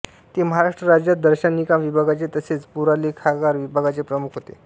ते महाराष्ट्र राज्य दर्शनिका विभागाचे तसेच पुरालेखागार विभागाचे प्रमुख होते